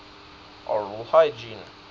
oral hygiene